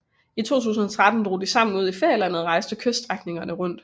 I 2013 drog de sammen ud i ferielandet og rejste kyststrækningerne rundt